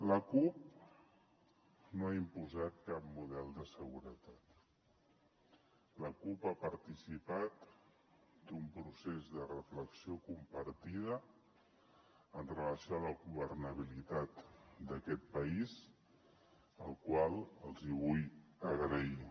la cup no ha imposat cap model de seguretat la cup ha participat d’un procés de reflexió compartida amb relació a la governabilitat d’aquest país la qual cosa els vull agrair